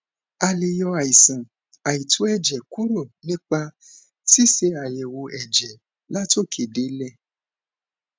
a lè yọ àìsàn àìtó èjè kúrò nípa ṣíṣe àyèwò èjè látòkè délè